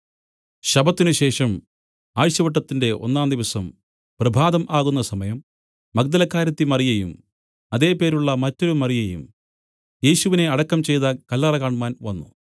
ശബ്ബത്തിനു ശേഷം ആഴ്ചവട്ടത്തിന്റെ ഒന്നാം ദിവസം പ്രഭാതം ആകുന്ന സമയം മഗ്ദലക്കാരത്തി മറിയയും അതെ പേരുള്ള മറ്റൊരു മറിയയും യേശുവിനെ അടക്കം ചെയ്ത കല്ലറ കാണ്മാൻ വന്നു